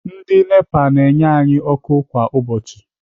Ndị Nepa na-enye anyị ọkụ kwa ụbọchị.